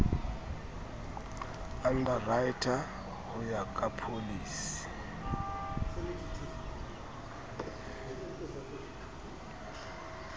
underwriter ho ya ka pholisi